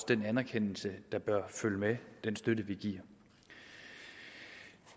den anerkendelse der bør følge med den støtte vi giver